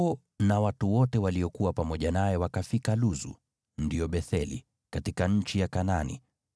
Yakobo na watu wote waliokuwa pamoja naye wakafika Luzu (ndio Betheli), katika nchi ya Kanaani.